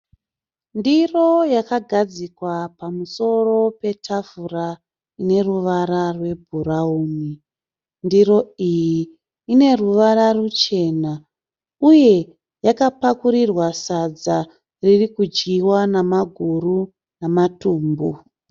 Ndiro yakagadzikwa pamusoro petafura ine ruvarwa rwebhurauni. Ndiro iyi ine ruvara ruchena uye yakapakurirwa sadza riri kudyiwa namaguru namatumbu.